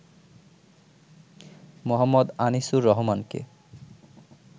মো. আনিসুর রহমানকে।